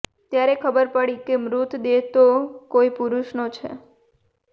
ત્યારે ખબર પડી કે મૃતદેહ તો કોઈ પુરુષનો છે